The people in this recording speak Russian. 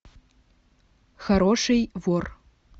хороший вор